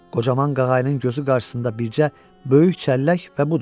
Qocaman qağaylın gözü qarşısında bircə böyük çəllək və budur.